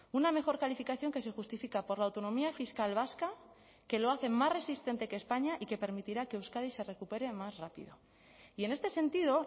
una mejor calificación que se justifica por la autonomía fiscal vasca que lo hace más resistente que españa y que permitirá que euskadi se recupere más rápido y en este sentido